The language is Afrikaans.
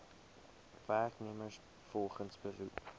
werknemers volgens beroep